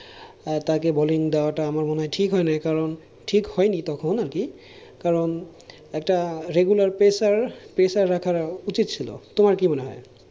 তাকে bowling দেওয়াটা আমার মনে হয় ঠিক হয়নি, কারণ ঠিক হয়নি তখন আর কি কারণ একটা regular pressure pressure রাখা উচিত ছিল তোমার কি মনে হয়?